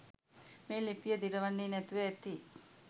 මේ ලිපිය දිරවන්නේ නැතිව ඇති.